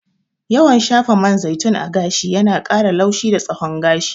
Yawan shafa man zaitun a gashi yana ƙara laushi da tsawon gashi.